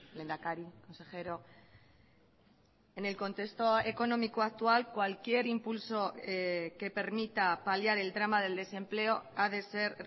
lehendakari consejero en el contexto económico actual cualquier impulso que permita paliar el drama del desempleo ha de ser